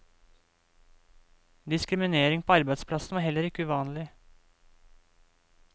Diskriminering på arbeidsplassen var heller ikke uvanlig.